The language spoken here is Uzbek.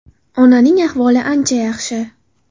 Onaning ahvoli ancha yaxshi.